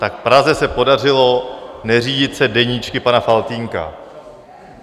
Tak v Praze se podařilo neřídit se deníčky pana Faltýnka.